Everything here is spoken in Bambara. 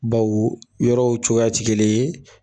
Baw yɔrɔw cogoya tɛ gelen ye.